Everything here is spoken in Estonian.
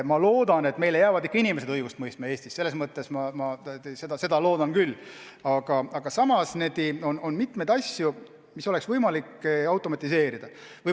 Ma loodan, et meil jäävad ikka inimesed õigust mõistma, aga samas on mitmeid asju, mida oleks võimalik automatiseerida.